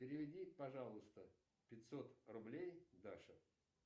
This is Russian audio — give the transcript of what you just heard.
переведи пожалуйста пятьсот рублей даше